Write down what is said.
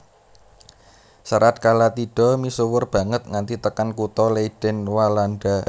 Serat Kalatidha misuwur banget nganti tekan kutha Leiden Walanda